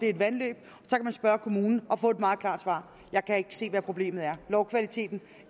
er vandløb og kommunen og få et meget klart svar jeg kan ikke se hvad problemet er lovkvaliteten